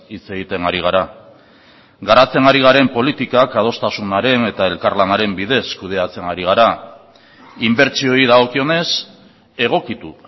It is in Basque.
hitz egiten ari gara garatzen ari garen politikak adostasunaren eta elkarlanaren bidez kudeatzen ari gara inbertsioei dagokionez egokitu